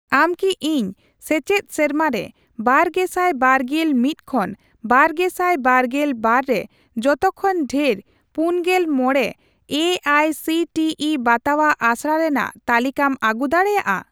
ᱟᱢ ᱠᱤ ᱤᱧ ᱥᱮᱪᱮᱫ ᱥᱮᱨᱢᱟ ᱨᱮ ᱵᱟᱨᱜᱮᱥᱟᱭ ᱵᱟᱨᱜᱮᱞ ᱢᱤᱛ ᱠᱷᱚᱱ ᱵᱟᱨᱜᱮᱥᱟᱭ ᱵᱟᱨᱜᱮᱞ ᱵᱟᱨ ᱨᱮ ᱡᱚᱛᱚ ᱠᱷᱚᱱ ᱰᱷᱮᱨ ᱯᱩᱱᱜᱮᱞ ᱢᱚᱲᱮ A I C T E ᱵᱟᱛᱟᱣᱟᱜ ᱟᱥᱲᱟ ᱨᱮᱱᱟᱜ ᱛᱟᱞᱤᱠᱟᱢ ᱟᱹᱜᱩ ᱫᱟᱲᱮᱭᱟᱜᱼᱟ?